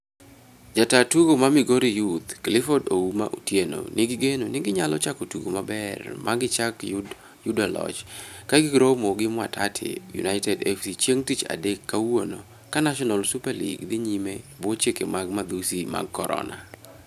Jata tugo ma Migori Youth Clifford 'Ouma' Otieno nigi geno ni ginyalo chako tugo maber magichak yudo loch ka giromo gi Mwatate United FC chieng tich adek (kawuono) ka National Super League dhi nyime e bwo chike mag madhusi mag Corona.